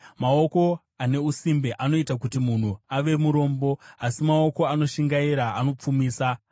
Maoko ane usimbe anoita kuti munhu ave murombo, asi maoko anoshingaira anopfumisa.